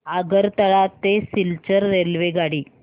आगरतळा ते सिलचर रेल्वेगाडी